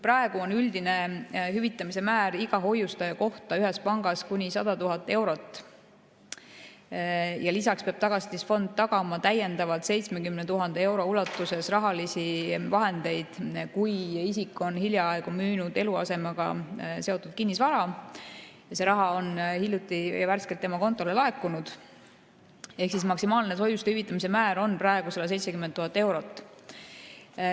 Praegu on üldine hüvitamise määr iga hoiustaja kohta ühes pangas kuni 100 000 eurot ja lisaks peab Tagatisfond tagama täiendavalt 70 000 euro ulatuses rahalisi vahendeid, kui isik on hiljaaegu müünud eluasemega seotud kinnisvara ja see raha on värskelt tema kontole laekunud, ehk maksimaalne hoiuste hüvitamise määr on praegu 170 000 eurot.